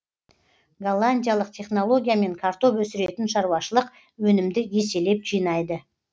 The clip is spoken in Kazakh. голландиялық технологиямен картоп өсіретін шаруашылық өнімді еселеп жинайды